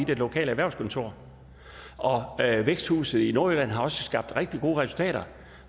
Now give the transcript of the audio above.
det lokale erhvervskontor væksthuset i nordjylland har også skabt rigtig gode resultater